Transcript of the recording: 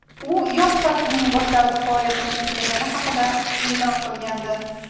U yoz faslining boshlarida faoliyatini yakunlagani haqida e’lon qilgandi .